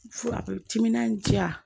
Fura timinan diya